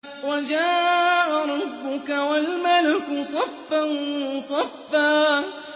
وَجَاءَ رَبُّكَ وَالْمَلَكُ صَفًّا صَفًّا